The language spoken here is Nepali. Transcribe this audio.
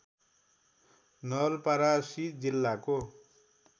नवलपरासी जिल्लाको